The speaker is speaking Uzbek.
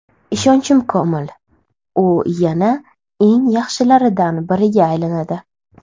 Ishonchim komil, u yana eng yaxshilaridan biriga aylanadi.